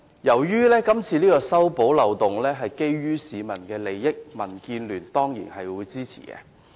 由於是次修補漏洞關乎市民的利益，民建聯當然會支持。